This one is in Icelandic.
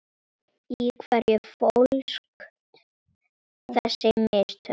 Í hverju fólust þessi mistök?